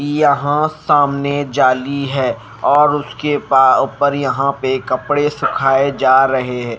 यहां सामने जाली हैं और उसके ऊपर यहां पे कपड़े सुखाए जा रहे हैं।